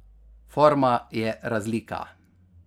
Forma je razlika.